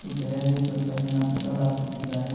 ಕೆಳಗೆ ಸ್ವಲ್ಪ ಜನ ಪೆಟ್ರೋಲ್ ಹಾಕುಸ್ಕೋತಿದ್ದಾರೆ ಮತ್--